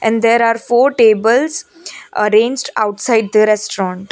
there are four tables arranged outside the restaurant.